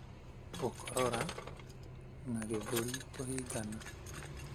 gũkorora, na gĩthũri kũhingana.